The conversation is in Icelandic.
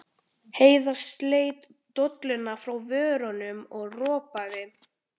Heiða sleit dolluna frá vörunum og ropaði.